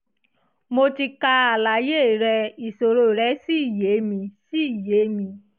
mo ti ka àlàyé rẹ ìṣòro rẹ́ sì yé mi sì yé mi